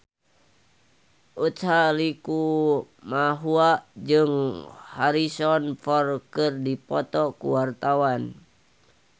Utha Likumahua jeung Harrison Ford keur dipoto ku wartawan